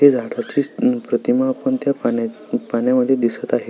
त्या झाडाची पण प्रतिमा आपण त्या पाण्या मध्ये दिसत आहे.